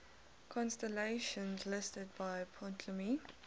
constellations listed by ptolemy